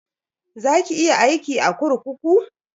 Za ki iya aiki a kurkuku?